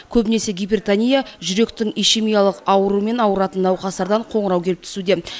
көбінесе гипертония жүректің ишемиялық ауруымен ауыратын науқастардан қоңырау келіп түсуде